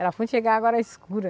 Era fundo chega a água era escura.